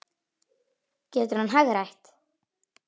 Getur hann hagrætt?